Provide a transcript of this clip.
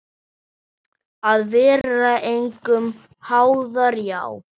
Að vera engum háður, já.